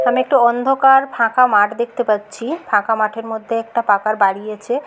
আমি একটা অন্ধকার ফাঁকা মাঠ দেখতে পাচ্ছি ফাঁকা মাঠের মধ্যে একটা পাকার বাড়ি আছে।